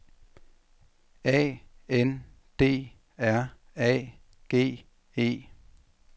A N D R A G E